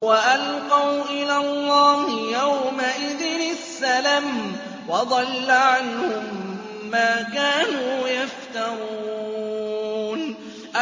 وَأَلْقَوْا إِلَى اللَّهِ يَوْمَئِذٍ السَّلَمَ ۖ وَضَلَّ عَنْهُم مَّا كَانُوا يَفْتَرُونَ